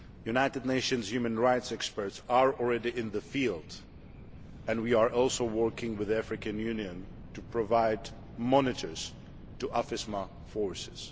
United Nations human rights experts are already in the field and we are also working with the African Union to provide monitors to AFISMA forces.